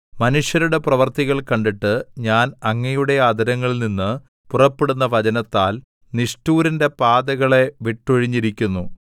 മനുഷ്യരുടെ പ്രവൃത്തികൾ കണ്ടിട്ട് ഞാൻ അങ്ങയുടെ അധരങ്ങളിൽനിന്നു പുറപ്പെടുന്ന വചനത്താൽ നിഷ്ഠൂരന്റെ പാതകളെ വിട്ടൊഴിഞ്ഞിരിക്കുന്നു